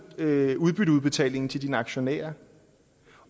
øger udbytteudbetalingen til dine aktionærer